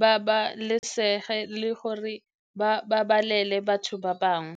babalesege le gore ba babalele batho ba bangwe?